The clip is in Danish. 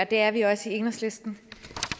det er vi også i enhedslisten